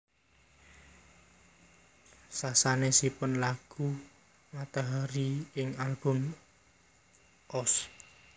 Sasanesipun nyanyi lagu Matahari ing album Ost